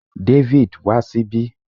David, wa síbí